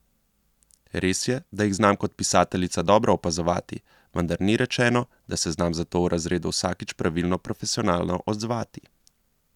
Res je, da jih znam kot pisateljica dobro opazovati, vendar ni rečeno, da se znam zato v razredu vsakič pravilno profesionalno odzvati.